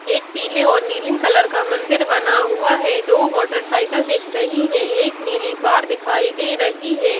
एक पीले और नीले कलर का मंदिर बना हुआ है दो मोटरसाइकिल दिख रही हैं एक नीली कार दिखाई दे रही है।